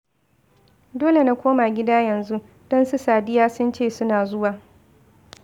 Dole na koma gida yanzu, don su Sadiya sun ce suna zuwa